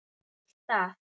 Og vill það.